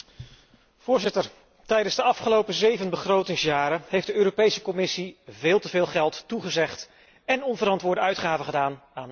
Tijdens de afgelopen zeven begrotingsjaren heeft de Europese Commissie veel te veel geld toegezegd en onverantwoorde uitgaven gedaan voor nutteloze projecten.